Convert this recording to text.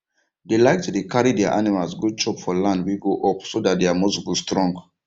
dey like to dey carry their animals go chop for land wey go up so dat their muscle go strong